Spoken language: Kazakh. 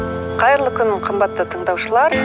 қайырлы күн қымбатты тындаушылар